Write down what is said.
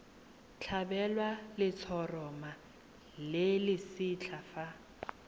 tlhabelwa letshoroma le lesetlha fa